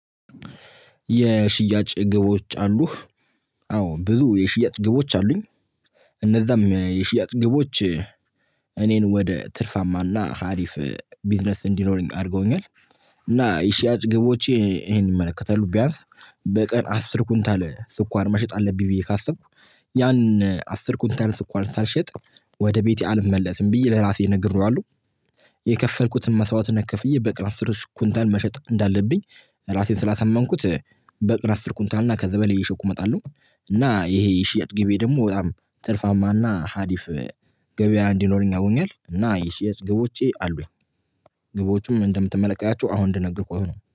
የሽያጭ ግቦች አሉህ? አዎ ብዙ የሽያጭ ግቦች አሉኝ። እነዛም የሽያጭ ግቦች። እኔን ወደ ትርፋማና ሀሪፍ ቢዝነስ እንዲኖረኝ አርገውኛል። እና የሺያጭ ግቦቼ ይሄን ይመለከታሉ ቢያንስ በቀን አስር ኩንታ ላይ ስኳር መሸጥ አለብኝ ብዬ ካሰብኩ ያን አስር ኩንታል ስኳር ሳልሸጥ ወደ ቤቴ አልመለስም ብዬ ለራሴ ነግሬዋለሁ። የከፈልኩትን መስዋዕትነት ክፍዬ በቀን አስሮሽ ኩንታል መሸጥ እንዳለብኝ ራሴን ስላሳመንኩት በቀን አስርኩንታልና ከዛ በል እየሸኩ እመጣለሁ። እና ይሄ የሽያጭ ግቤ ደግሞ በጣም ትርፋማና ሀዲፍ ገበያ እንዲኖረኝ አርጎኛል። እና የሽያጭ ግቦቼ አሉኝ። ግቦቹም እንደምትመለከታቸው አሁን እንደነገርኩ ነው